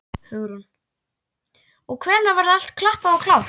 Hugrún: Og hvenær verður allt klappað og klárt?